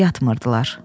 Yatmırdılar.